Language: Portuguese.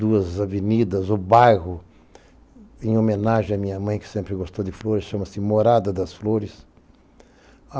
Duas avenidas, o bairro, em homenagem à minha mãe, que sempre gostou de flores, chama-se Morada das Flores.